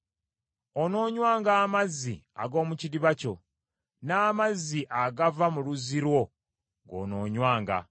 Onoonywanga amazzi ag’omu kidiba kyo, n’amazzi agava mu luzzi lwo goonoonywanga.